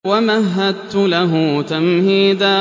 وَمَهَّدتُّ لَهُ تَمْهِيدًا